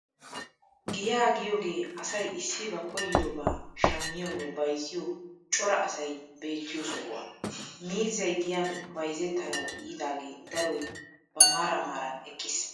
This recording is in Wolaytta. Giyaa giyoogee asay issi ba koyyidobaa shammiyoonne bayzziyoo cora asay beettiyoo sohuwaa. Miizzay giyan bayzzetanawu yiidaagee daroy ba maaran maaran eqqiis.